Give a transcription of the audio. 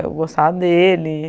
Eu gostava dele.